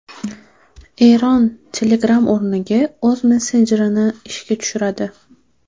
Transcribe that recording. Eron Telegram o‘rniga o‘z messenjerini ishga tushiradi.